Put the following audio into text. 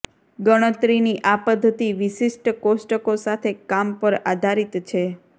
ગણતરીની આ પદ્ધતિ વિશિષ્ટ કોષ્ટકો સાથે કામ પર આધારિત છે